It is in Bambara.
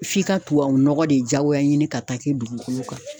F'i ka tubabunɔgɔ de jadoya ɲini ka taa kɛ dugukolo kan